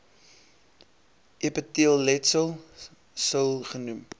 epiteelletsel sil genoem